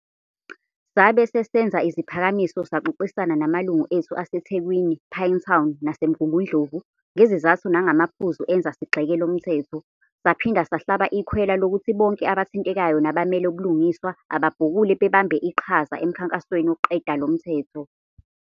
Sabe sesenza iziphakamiso saxoxisana namalungu ethu ase Thekwini, Pinetown nase Mgungundlovu, ngezizathu nangamaphuzu enza sigxeke lomthetho. Saphinda sahlaba ikhwela lokuthi bonke abathintekayo nabamele ubulungiswa ababhukule babambe iqhaza emkhankasweni wokuqeda lomthetho.